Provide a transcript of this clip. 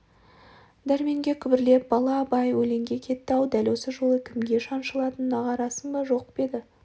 дәрменге күбірлеп бала абай өлеңге кетті-ау дәл осы жолы кімге шан-шылатынын аңғарасың ба жоқ па деді